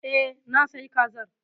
E, na sayi Kazar.